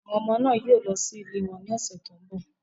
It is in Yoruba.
Àwọn ọmọ náà yóò lọ sí ilé wọn ní ọ̀sẹ̀ tó ń bọ̀.